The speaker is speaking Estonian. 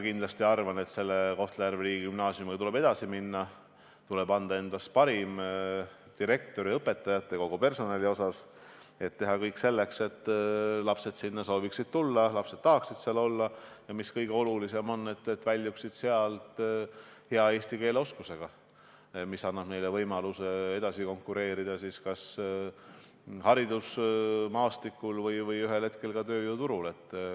Kindlasti arvan ma, et Kohtla-Järve riigigümnaasiumiga tuleb edasi minna, anda endast parim direktoril, õpetajatel ja kogu ülejäänud personalil, teha kõik selleks, et lapsed sooviksid sinna minna, lapsed tahaksid seal olla ja – mis kõige olulisem – nad väljuksid sealt hea eesti keele oskusega, mis annab neile edaspidi võimaluse konkureerida haridusmaastikul ja ühel hetkel ka tööjõuturul.